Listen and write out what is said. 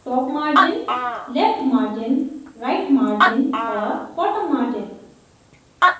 top margin left margin right margin और bottom margin